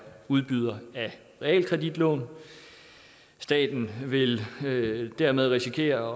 udbyder af realkreditlån staten vil dermed risikere